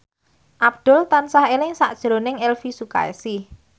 Abdul tansah eling sakjroning Elvy Sukaesih